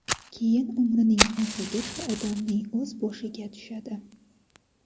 keyin umrining oxirigacha odamning o‘z boshiga tushadi.